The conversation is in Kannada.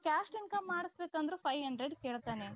caste income ಮಾಡಿಸ ಬೇಕಂದ್ರೂ five hundred ಕೇಳ್ತಾನೆ.